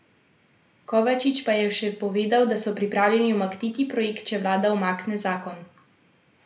Kovačič pa je še povedal, da so pripravljeni umakniti projekt, če vlada umakne zakon.